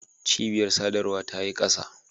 Cibiyar sadarwa ta yi kasa.